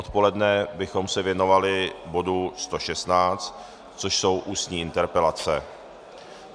Odpoledne bychom se věnovali bodu 116, což jsou ústní interpelace.